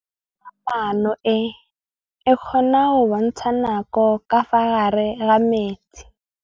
Toga-maanô e, e kgona go bontsha nakô ka fa gare ga metsi.